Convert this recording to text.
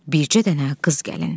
Bircə dənə qız gəlin.